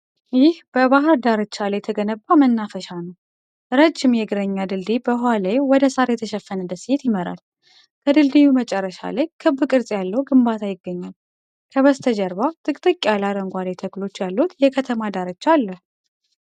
ይህ በባህር ዳርቻ ላይ የተገነባ መናፈሻ ነው። ረዥም የእግረኛ ድልድይ በውኃው ላይ ወደ ሣር የተሸፈነ ደሴት ይመራል። ከድልድዩ መጨረሻ ላይ ክብ ቅርጽ ያለው ግንባታ ይገኛል። ከበስተጀርባ ጥቅጥቅ ያለ አረንጓዴ ተክሎች ያሉት የከተማ ዳርቻ አለ።